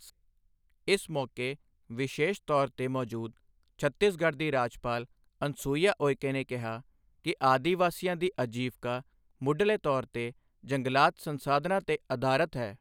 ਇਸ ਮੌਕੇ ਵਿਸ਼ੇਸ਼ ਤੌਰ ਤੇ ਮੌਜੂਦ ਛੱਤੀਸਗੜ੍ਹ ਦੀ ਰਾਜਪਾਲ ਅਨਸੁਈਯਾ ਉਇਕੇ ਨੇ ਕਿਹਾ ਕਿ ਆਦਿਵਾਸੀਆਂ ਦੀ ਆਜੀਵਕਾ ਮੁੱਢਲੇ ਤੌਰ ਤੇ ਜੰਗਲਾਤ ਸੰਸਾਧਨਾਂ ਤੇ ਅਧਾਰਤ ਹੈ।